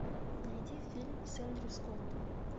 найди фильм с эндрю скоттом